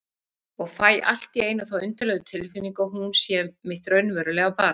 Og fæ allt í einu þá undarlegu tilfinningu að hún sé mitt raunverulega barn.